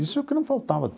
Isso é o que não faltava.